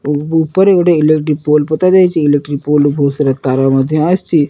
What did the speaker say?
ଉପରେ ଗୋଟିଏ electric pole ପୋତାଯାଇଛି ଇଲେକ୍ଟ୍ରୀ ପୋଲ୍ ରୁ ବହୁତ୍ ସାରା ତାର ମଧ୍ୟ ଆସିଚି ।